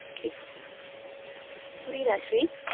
okay புரியுதா ஸ்ரீ?